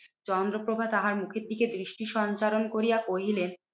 চন্দ্রপ্রভা তাহার মুখের দিকে দৃষ্টি সঞ্চারণ করিয়া কহিলেন,